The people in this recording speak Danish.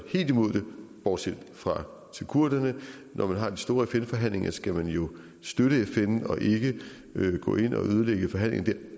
helt imod det bortset fra til kurderne når man har en stor fn forhandling skal man jo støtte fn og ikke gå ind og ødelægge forhandlingen der